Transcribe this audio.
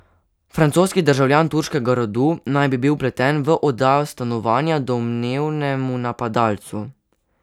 Francoski državljan turškega rodu naj bi bil vpleten v oddajo stanovanja domnevnemu napadalcu.